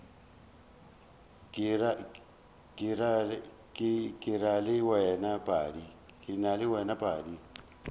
ke ra le wena padi